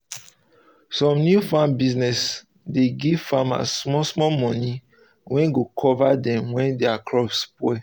some new farm business dey give farmers small small money um wey go cover dem um when their crops spoil